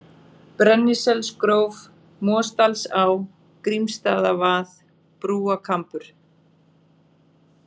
Brenniselsgróf, Mosdalsá, Grímsstaðavað, Brúakambur